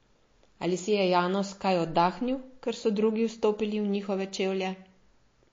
Ali si je Janus kaj oddahnil, ker so drugi vstopili v njihove čevlje?